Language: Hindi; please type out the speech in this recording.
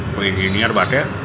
कोई इंजीनियर बाटे।